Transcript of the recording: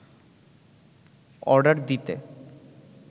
order দিতে